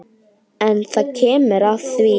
En það kemur að því.